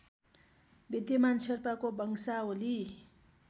विद्यमान शेर्पाको वंशावली